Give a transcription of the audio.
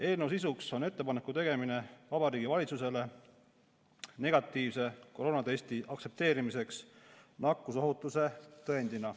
Eelnõu sisuks on ettepaneku tegemine Vabariigi Valitsusele negatiivse koroonatesti aktsepteerimiseks nakkusohutuse tõendina.